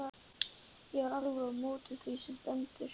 Ég er alveg á móti því sem stendur.